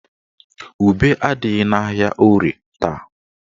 Ube adịghị n'ahịa Orie taa.